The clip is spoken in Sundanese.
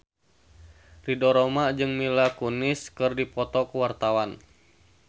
Ridho Roma jeung Mila Kunis keur dipoto ku wartawan